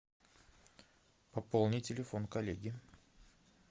пополни телефон коллеги